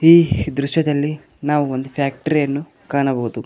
ಈ ದೃಶ್ಯದಲ್ಲಿ ನಾವು ಒಂದು ಫ್ಯಾಕ್ಟರಿ ಅನ್ನು ಕಾಣಬಹುದು.